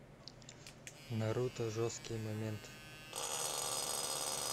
наруто жесткие моменты